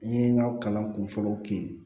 N ye n ka kalan kun fɔlɔw kɛ